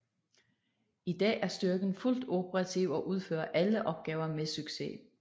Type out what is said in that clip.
I dag er styrken fuldt operativ og udfører alle opgaver med succes